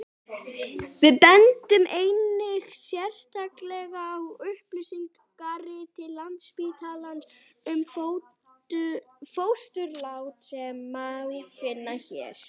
við bendum einnig sérstaklega á upplýsingarit landsspítalans um fósturlát sem má finna hér